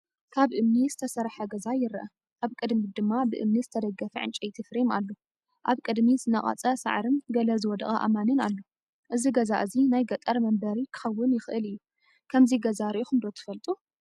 ካብ እምኒ ዝተሰርሐ ገዛ ይርአ። ኣብ ቅድሚት ድማ ብእምኒ ዝተደገፈ ዕንጨይቲ ፍሬም ኣሎ። ኣብ ቅድሚት ዝነቐጸ ሳዕርን ገለ ዝወደቐ ኣእማንን ኣሎ። እዚ ገዛ እዚ ናይ ገጠር መንበሪ ክኸውን ይኽእል እዩ። ከምዚ ገዛ ርኢኹም ዶ ትፈልጡ?